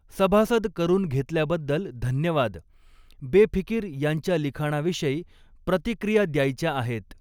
सभासद करुन घेतल्याबद्द्ल धन्यवाद, बेफिकिर या॑च्या लिखाणाविशयी प्रतिक्रिया द्यायच्या आहेत.